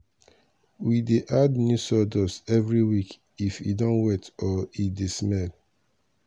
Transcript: we dey add new sawdust every week if e don wet or e dey smell.